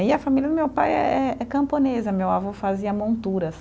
E a família do meu pai é é camponesa, meu avô fazia monturas.